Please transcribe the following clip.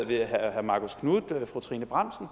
herre marcus knuth og fru trine bramsen